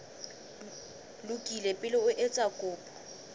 lokile pele o etsa kopo